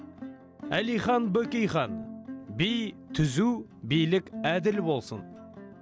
әлихан бөкейхан би түзу билік әділ болсын